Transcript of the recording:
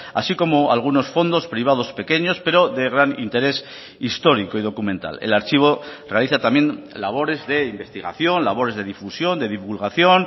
así como algunos fondos privados pequeños pero de gran interés histórico y documental el archivo realiza también labores de investigación labores de difusión de divulgación